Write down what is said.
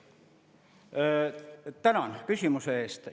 Tänan küsimuse eest!